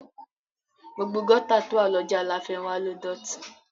Gbogbo gọ́tà tó wà lọ́jà láfénwá ló dọ̀tí